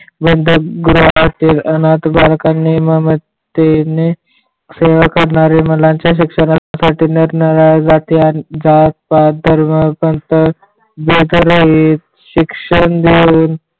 व दोन ग्रहातील अनाथ बालकांनी मामा तिने सेवा करणाऱ्या मुलांचे शिक्षणा साठी नरनाळा जाते आणि जात पात धर्म बेघरही शिक्षण देऊन